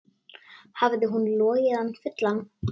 Hafði hún logið hann fullan?